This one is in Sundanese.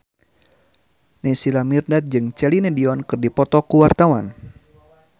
Naysila Mirdad jeung Celine Dion keur dipoto ku wartawan